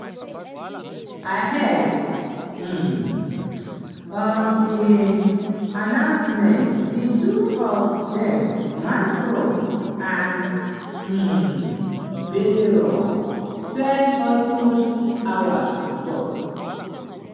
ahead um of di announcement di two of dem (macron and um bayrou) spend almost two hours to tok.